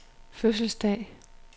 fødselsdag